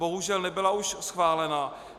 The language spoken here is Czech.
Bohužel nebyla už schválena.